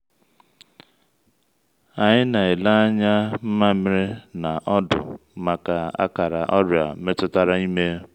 anyị na-ele anya nmamiri na ọdụ maka akara ọrịa metụtara ime.